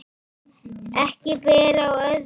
Ekki ber á öðru